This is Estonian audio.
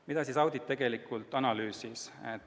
Mida audit tegelikult analüüsis?